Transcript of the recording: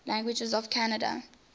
languages of canada